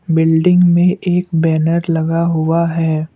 Building में एक banner लगा हुआ है।